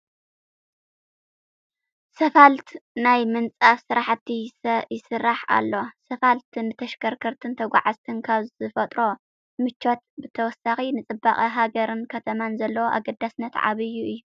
ስፋልት ናይ ምንፃፍ ስራሕቲ ይስራሕ ኣሎ፡፡ ስፋልት ንተሽከርከርትን ተጓዓዓዝትን ካብ ዝፈጥሮ ምቾት ብተወሳኺ ንፅባቐ ሃገርን ከተማን ዘለዎ ኣገዳስነት ዓብዪ እዩ፡፡